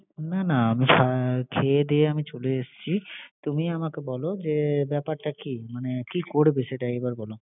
না না আমি খেয়ে দেয়ে আমি চলে এসছি। তুমি আমাকে বল যে ব্যাপারটা কি। মানে কি করবে সেটাই এ্ইবার বল